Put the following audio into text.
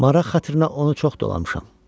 Maraq xatirinə onu çox dolamışam.